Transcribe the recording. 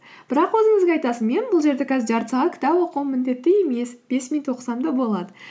бірақ өзіңізге айтасыз мен бұл жерде қазір жарты сағат кітап оқуым міндетті емес бес минут оқысам да болады